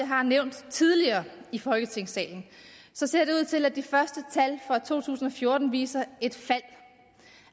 har nævnt tidligere i folketingssalen at de første tal fra to tusind og fjorten viser et fald